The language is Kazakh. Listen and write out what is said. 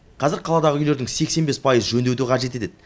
қазір қаладағы үйлердің сексен бес пайызы жөндеуді қажет етеді